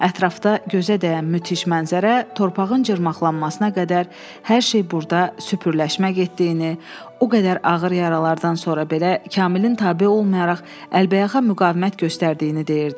Ətrafda gözə dəyən müdhiş mənzərə torpağın cırılmaqasına qədər hər şey burda süpürləşmək etdiyini, o qədər ağır yaralardan sonra belə Kamilin tabe olmayaraq əlbəyaxa müqavimət göstərdiyini deyirdi.